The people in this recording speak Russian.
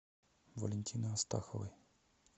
валентины астаховой